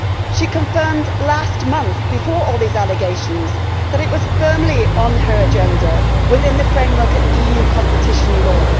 She confirmed last month, before all these allegations, that it was firmly on her agenda within the framework of EU competition law.